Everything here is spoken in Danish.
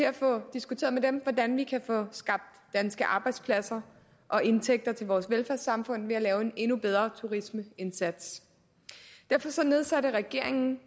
at få diskuteret med dem hvordan vi kan få skabt danske arbejdspladser og indtægter til vores velfærdssamfund ved at lave en endnu bedre turismeindsats regeringen